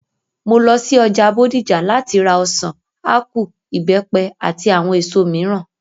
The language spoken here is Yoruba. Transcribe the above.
Mo lo sí ọjà Bódìjà láti ra ọ̀sàn, ápù, ìbẹ́pẹ, àti àwọn èso mìíràn